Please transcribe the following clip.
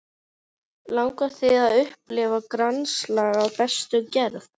Langar þig að upplifa grannaslag af bestu gerð?